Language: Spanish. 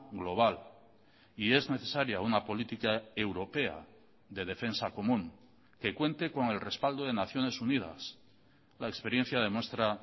global y es necesaria una política europea de defensa común que cuente con el respaldo de naciones unidas la experiencia demuestra